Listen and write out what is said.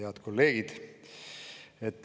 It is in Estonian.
Head kolleegid!